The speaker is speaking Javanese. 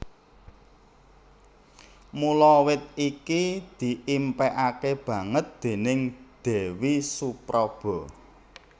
Mula wit iki diimpékaké banget déning Déwi Supraba